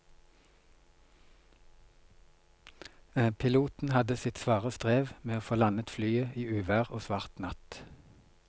Piloten hadde sitt svare strev med å få landet flyet i uvær og svart natt.